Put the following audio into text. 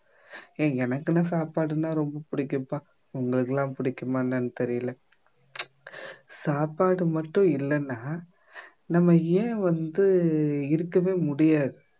ஏன் எனக்குன்னு சாப்பாடுன்னா ரொம்ப பிடிக்கும்ப்பா உங்களுக்கு எல்லாம் பிடிக்குமா என்னன்னு தெரியல சாப்பாடு மட்டும் இல்லைன்னா நம்ம ஏன் வந்து இருக்கவே முடியாது